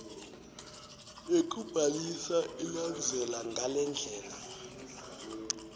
yekubhalisa ilandzela ngalendlela